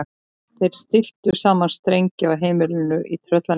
Þeir stilltu saman strengi á heimilinu í Tröllanesi.